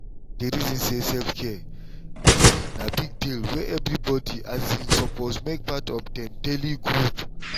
i dey reason say self-care um na big deal wey everyone um suppose make part of dem daily groove.